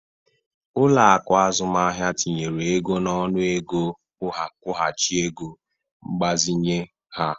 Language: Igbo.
Ụlọaku azụmahịa tinyere ego n'ọnụ ego nkwuhachi ego mgbazinye ha.